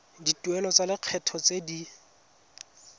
dituelo tsa lekgetho tse di